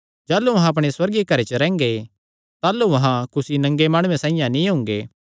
जाह़लू अहां अपणे सुअर्गीय घरे च रैंह्गे ताह़लू अहां कुसी नंगे माणुये साइआं नीं हुंगे